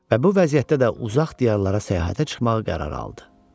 Və bu vəziyyətdə də uzaq diyarlara səyahətə çıxmağa qərar aldı.